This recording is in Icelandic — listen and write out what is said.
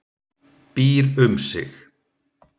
Býr um sig.